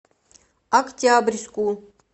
октябрьску